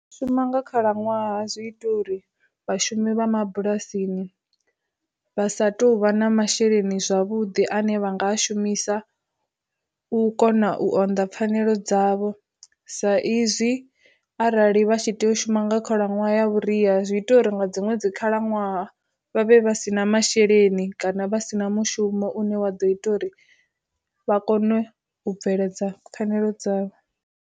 Shuma nga khalaṅwaha zwi ita uri vhashumi vha mabulasini vha sa tou vha na masheleni zwavhuḓi, ane vha nga shumisa u kona u onda pfanelo dzavho sa izwi arali vha tshi tea u shuma nga khalaṅwaha ya vhuria zwi ita uri nga dziṅwe dzi khalaṅwaha vhavhe vha si na masheleni kana vha si na mushumo une wa ḓo ita uri vha kone u bveledza pfanelo dzavho.